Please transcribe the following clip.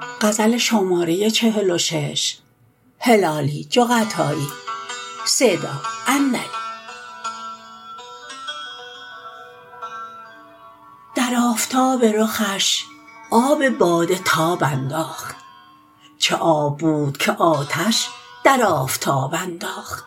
در آفتاب رخش آب باده تاب انداخت چه آب بود که آتش در آفتاب انداخت